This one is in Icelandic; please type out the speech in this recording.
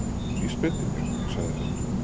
Vísbendingar- sagði hann.